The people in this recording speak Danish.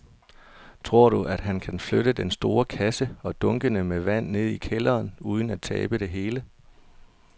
Tror du, at han kan flytte den store kasse og dunkene med vand ned i kælderen uden at tabe det hele?